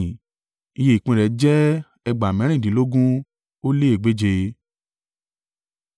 Iye ìpín rẹ̀ jẹ́ ẹgbàá mẹ́rìndínlógún ó lé egbèje (53,400).